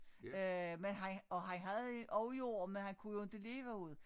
Øh men han og han havde også jord men han kunne jo inte leve af det